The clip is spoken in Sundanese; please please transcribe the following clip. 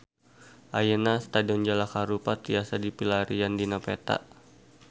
Ayeuna Stadion Jalak Harupat tiasa dipilarian dina peta